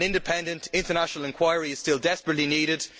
An independent, international inquiry is still desperately needed.